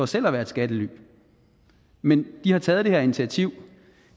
selv er et skattely men de har taget det initiativ